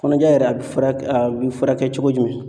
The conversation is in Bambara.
Kɔnɔja yɛrɛ a bɛ furak a be furakɛ cogo jumɛn?